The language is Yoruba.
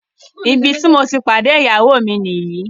Ìbí tí mo ti pàdé ìyáwó mi ní yí